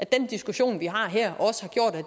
den diskussion vi har her